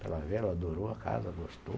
Pela ver, ela adorou a casa, gostou.